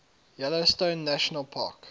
yellowstone national park